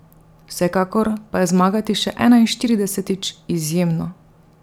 Vsekakor pa je zmagati še enainštiridesetič izjemno.